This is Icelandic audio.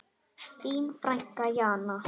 Þín frænka Jana.